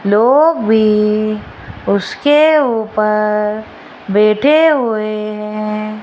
लोग भी उसके ऊपर बैठे हुए है।